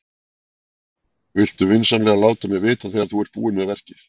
Viltu vinsamlega láta mig vita þegar þú ert búin með verkið?